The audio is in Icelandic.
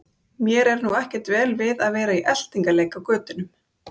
Mér er nú ekkert vel við að vera í eltingaleik á götunum.